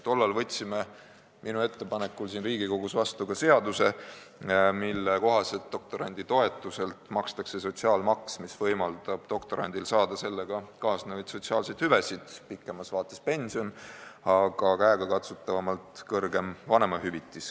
Tollal võtsime minu ettepanekul Riigikogus vastu seaduse, mille kohaselt doktoranditoetuselt makstakse sotsiaalmaksu, mis võimaldab doktorandil saada sellega kaasnevaid sotsiaalseid hüvesid .